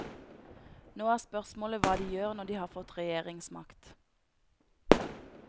Nå er spørsmålet hva de gjør når de har fått regjeringsmakt.